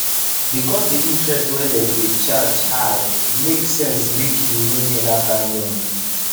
because the interest wey dem dey charge high e make sense make you no near that kind loan